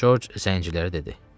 Corc zəncilərə dedi.